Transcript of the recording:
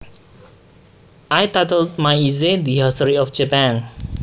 I titled my essay The History of Japan